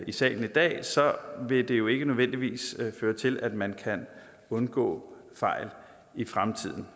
i salen i dag vil det jo ikke nødvendigvis føre til at man kan undgå fejl i fremtiden